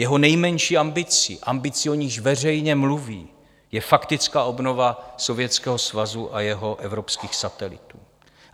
Jeho nejmenší ambicí, ambicí, o níž veřejně mluví, je faktická obnova Sovětského svazu a jeho evropských satelitů.